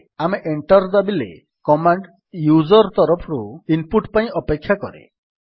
ଏବେ ଆମେ ଏଣ୍ଟର୍ ଦାବିଲେ କମାଣ୍ଡ୍ ୟୁଜର୍ ତରଫରୁ ଇନପୁଟ୍ ପାଇଁ ଅପେକ୍ଷା କରେ